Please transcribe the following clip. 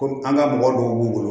Komi an ka mɔgɔ dɔw b'u bolo